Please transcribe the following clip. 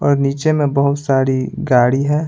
और नीचे में बहुत सारी गाड़ी है।